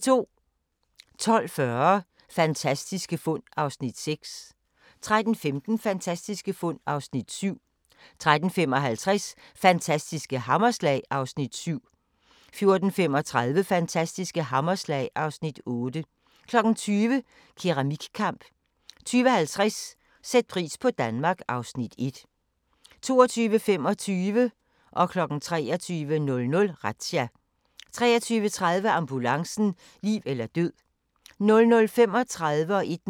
12:40: Fantastiske fund (6:10) 13:15: Fantastiske fund (7:10) 13:55: Fantastiske hammerslag (Afs. 7) 14:35: Fantastiske hammerslag (Afs. 8) 20:00: Keramikkamp 20:50: Sæt pris på Danmark (Afs. 1) 22:25: Razzia 23:00: Razzia 23:30: Ambulancen - liv eller død 00:35: Grænsepatruljen